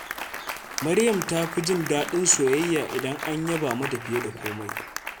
Maryam ta fi jin daɗin soyayya idan an yaba mata fiye da komai.